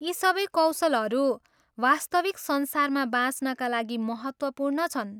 यी सबै कौशलहरू वास्तविक संसारमा बाँच्नका लागि महत्त्वपूर्ण छन्।